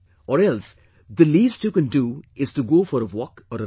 Or else, the least you can do is to go for a walk or a run